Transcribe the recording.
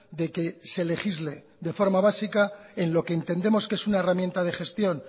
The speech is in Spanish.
de que se legisle de forma básica en lo que entendemos que es una herramienta de gestión